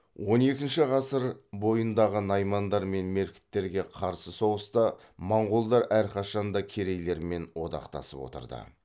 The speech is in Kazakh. он екінші ғасыр бойындағы наймандар мен меркіттерге қарсы соғыста монғолдар әрқашанда керейлермен одақтасып отырды